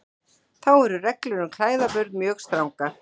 Þá eru reglur um klæðaburð mjög strangar.